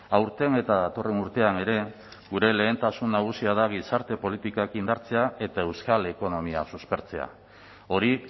aurten eta datorren urtean ere gure lehentasun nagusia da gizarte politikak indartzea eta euskal ekonomia suspertzea hori